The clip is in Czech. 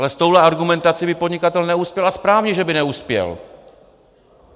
Ale s touhle argumentací by podnikatel neuspěl, a správně, že by neuspěl.